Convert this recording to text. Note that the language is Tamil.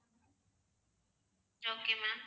okay ma'am